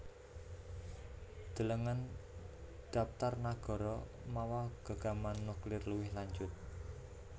Delengen dhaptar nagara mawa gegaman nuklir luwih lanjut